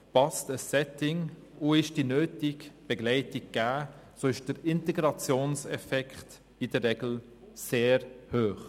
«Passt ein Setting und ist die nötige Begleitung gegeben, so ist der Integrationseffekt in der Regel sehr hoch.»